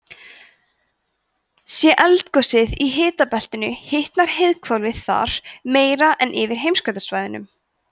sé eldgosið í hitabeltinu hitnar heiðhvolfið þar meira en yfir heimskautasvæðunum